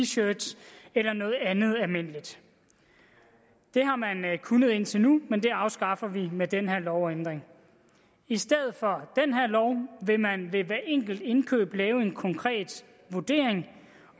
shirts eller noget andet almindeligt det har man kunnet indtil nu men det afskaffer vi med den her lovændring i stedet for vil man ved hver enkelt indkøb lave en konkret vurdering